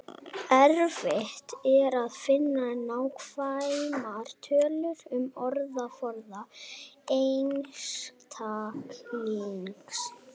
Erfitt er að finna nákvæmar tölur um orðaforða einstaklingsins.